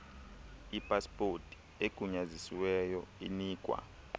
ipaspoti egunyazisiweyo inikwa